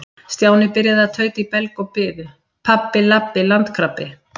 Stjáni byrjaði að tauta í belg og biðu: Pabbi- labbi- landkrabbi.